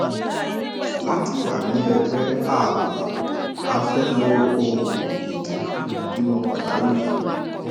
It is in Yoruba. láti wà ní ẹgbẹ ààbò a fẹ lo òògùn ìdènà ìbímọ pàjáwìrì